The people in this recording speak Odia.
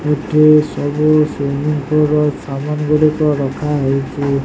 ଏଠି ସବୁ ସ୍ଵିମିଂ ପୂଲ ର ସମାନ୍ ଗୁଡ଼ିକ ରଖାଯାଇଛି।